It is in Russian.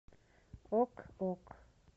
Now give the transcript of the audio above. ок ок